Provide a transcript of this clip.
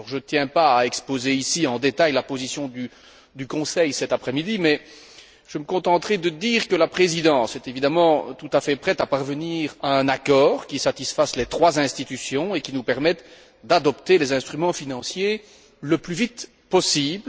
Je ne tiens pas à exposer en détail la position du Conseil, ici, cet après midi, mais je me contenterai de dire que la Présidence est évidemment tout à fait prête à parvenir à un accord qui satisfasse les trois institutions et qui nous permette d'adopter les instruments financiers le plus vite possible.